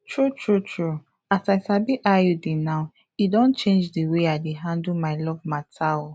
true true true as i sabi iud now e don change d way i dey handle my love matter oh